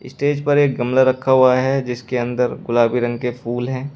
Stage पर एक गमला रखा हुआ है जिसके अंदर गुलाबी रंग के फूल हैं।